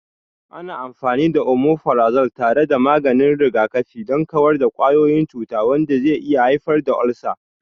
Ana amfani da Omeprazole tare da maganin rigakafi don kawar da kwayoyin cuta, wanda zai iya haifar da ulcers.